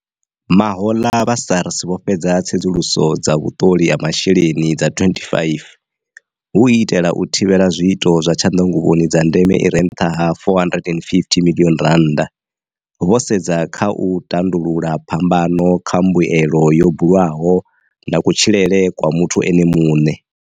Mahoḽa, vha SARS vho fhedza tsedzuluso dza vhuṱoli ha matshilele dza 25 hu u itela u thivhela zwiito zwa tshanḓanguvhoni dza ndeme i re nṱha ha R450 miḽioni vho sedza kha u tandulula phambano kha mbuelo yo bulwaho na kutshilele kwa muthu ene muṋe.